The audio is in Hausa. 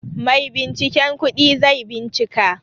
Maibinciken kudi zai bincika.